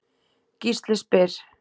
Gísli spyr